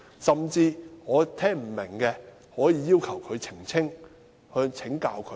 甚至我不明白的，可以要求他澄清，請教他。